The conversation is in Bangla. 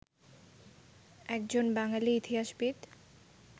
একজন বাঙালি ইতিহাসবিদ